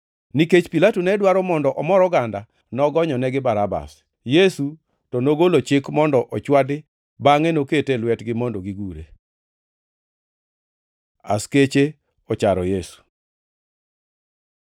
Nikech Pilato ne dwaro mondo omor oganda, nogonyonegi Barabas. Yesu to nogolo chik mondo ochwadi bangʼe nokete e lwetgi mondo gigure. Askeche ocharo Yesu